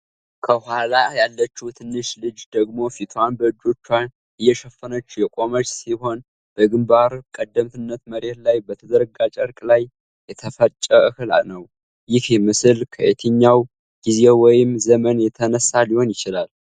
ከጎኗ ያለችው ትንሽ ልጅ ደግሞ ፊቷን በእጆቿ እየሸፈነች የቆመች ሲሆን በግንባር ቀደምትነት መሬት ላይ በተዘረጋ ጨርቅ ላይ የተፈጨ እህል ነው። ይህ ምስል ከየትኛው ጊዜ ወይም ዘመን የተነሳ ሊሆን ይችላል?